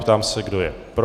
Ptám se, kdo je pro.